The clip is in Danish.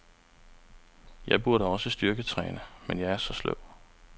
Jeg burde også styrketræne, men jeg er så sløv.